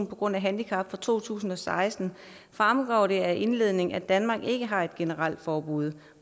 på grund af handicap fra to tusind og seksten fremgår det af indledningen at danmark ikke har et generelt forbud